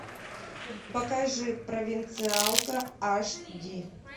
покажи провинциалка аш ди